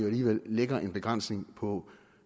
alligevel lægger en begrænsning på